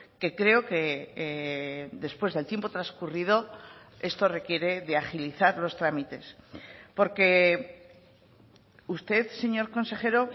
que creo que después del tiempo transcurrido esto requiere de agilizar los trámites porque usted señor consejero